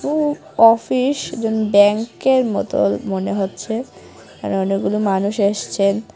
উ office ব্যাংকের মতোন মনে হচ্ছে আর অনেকগুলো মানুষ এসছেন।